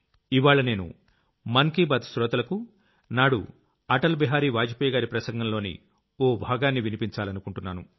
ఇవ్వాళ్ల నేను మనసులో మాట శ్రోతలకు నాడు అటల్ బిహారీ వాజ్ పేయ్ గారి ప్రసంగంలోని ఓ భాగాన్ని వినిపించాలనుకుంటున్నాను